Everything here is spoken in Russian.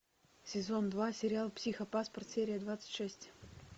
сезон два сериал психопаспорт серия двадцать шесть